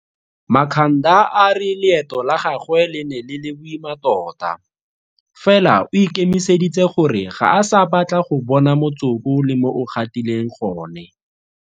Makhanda a re leeto la gagwe le ne le le boima tota, fela o ikemiseditse gore ga a sa batla go bona motsoko le mo o gatileng gone.